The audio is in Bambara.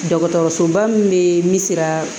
Dɔgɔtɔrɔsoba min bɛ min sira